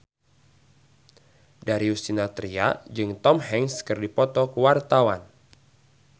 Darius Sinathrya jeung Tom Hanks keur dipoto ku wartawan